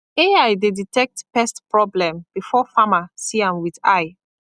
ai dey detect pest problem before farmer see am with eye